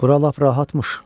Bura lap rahatmış.